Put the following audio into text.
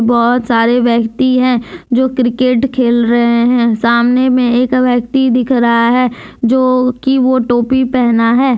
बहुत सारे व्यक्ति हैं जो क्रिकेट खेल रहे हैं सामने में एक व्यक्ति दिख रहा है जोकि वो टोपी पहना है।